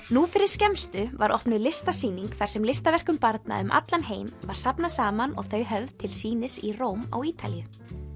nú fyrir skemmstu var opnuð listasýning þar sem listaverkum barna um allan heim var safnað saman og þau höfð til sýnis í Róm á Ítalíu